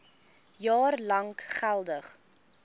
jaar lank geldig